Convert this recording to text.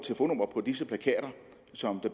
så